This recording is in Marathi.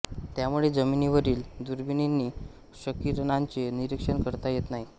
त्यामुळे जमिनीवरील दुर्बिणींनी क्षकिरणांचे निरीक्षण करता येत नाही